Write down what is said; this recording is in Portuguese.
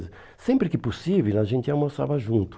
Sempre que possível, a gente almoçava junto.